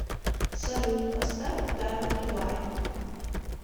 салют поставь даймонд вайт